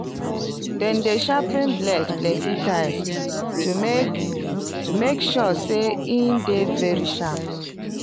dem dey sharpen blade plenty times to make make sure say e dey very sharp